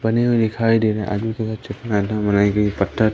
हुई दिखाई दे रहे है। बनाई गई पत्थर--